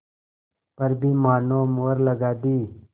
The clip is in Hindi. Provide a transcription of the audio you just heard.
पर भी मानो मुहर लगा दी